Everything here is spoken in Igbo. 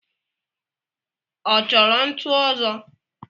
Ọ chọro ntu ozo?